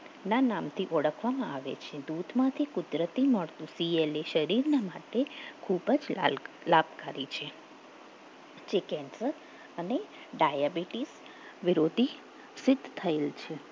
ના નામથી ઓળખવામાં આવે છે દૂધમાંથી કુદરતી મળતું CLA શરીર માટે ખૂબ જ લાભકારી છે જે કેન્સર અને ડાયાબિટીસ વિરોધી સિદ્ધ થયેલ છે